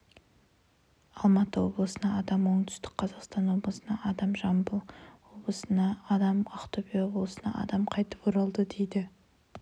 алматы облысына адам оңтүстік қазақстан облысына адам жамбыл облысына адам ақтөбе облысына адам қайтып оралды дейді